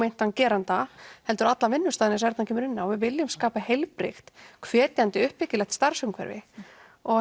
geranda heldur allan vinnustaðinn eins og Erna kom inn á við viljum skapa heilbrigt hvetjandi uppbyggilegt starfsumhverfi og